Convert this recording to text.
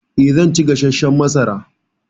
Eh, zan ci gasashshan masara.